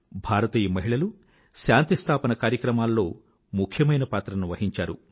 భారతీయ మహిళలు శాంతి స్థాపన కార్యక్రమాల్లో ముఖ్యమైన పాత్రను వహించారు